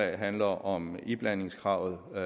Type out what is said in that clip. handler om iblandingskravet med